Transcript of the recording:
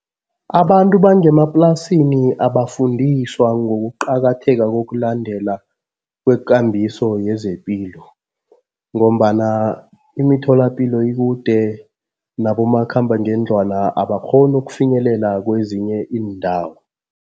Abantu bangemaplasini abafundiswa ngokuqakatheka kokulandela kwekambiso yezepilo ngombana imitholapilo ikude nabomakhambangendlwana, abakghoni ukufinyelela kwezinye iindawo.